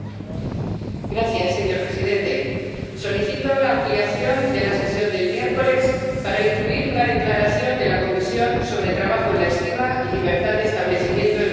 Señor presidente, solicito la ampliación de la sesión del miércoles para incluir una declaración de la Comisión sobre trabajo en la estiba y libertad de establecimiento en los puertos españoles.